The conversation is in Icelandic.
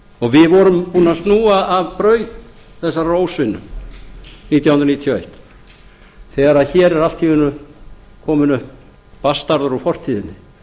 og við vorum búnir að snúa af braut þessarar ósvinnu nítján hundruð níutíu og eitt þegar hér er allt í einu kominn upp bastarður úr fortíðinni